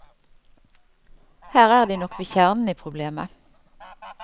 Her er de nok ved kjernen i problemet.